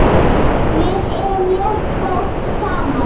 Við erum mjög góð saman.